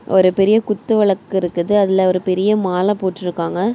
ஒரு பெரிய குத்து விளக்கு இருக்குது. அதுல ஒரு பெரிய மாலை போட்டு இருக்காங்க.